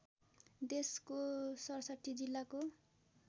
देशको ६७ जिल्लाको